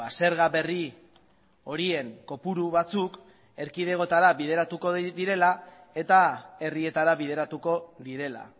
zerga berri horien kopuru batzuk erkidegotara bideratuko direla eta herrietara bideratuko direla